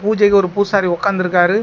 பூஜைக்கு ஒரு பூசாரி ஒக்காந்து இருக்காரு.